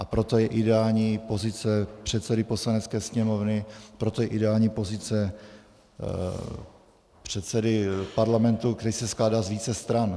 A proto je ideální pozice předsedy Poslanecké sněmovny, proto je ideální pozice předsedy parlamentu, který se skládá z více stran.